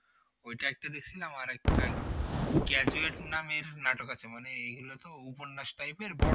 ওইটা একটা দেখছিলাম আরেকটা graduate নামের নাটক আছে মানে এইগুলো তো উপন্যাস type এর বড়